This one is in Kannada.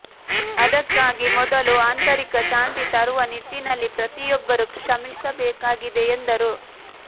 ಅದಕ್ಕಾಗಿ ಮೊದಲು ಆಂತರಿಕ ಶಾಂತಿ ತರುವ ನಿಟ್ಟಿನಲ್ಲಿ ಪ್ರತಿಯೊಬ್ಬರೂ ಶ್ರಮಿಸಬೇಕಾಗಿದೆ ಎಂದರು